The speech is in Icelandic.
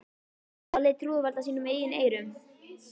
Lalli trúði varla sínum eigin eyrum.